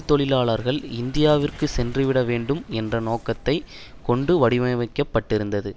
தொழிலாளர்கள் இந்தியாவிற்கு சென்றுவிடவேண்டும் என்ற நோக்கத்தை கொண்டு வடிவமைக்கப்பட்டிருந்தது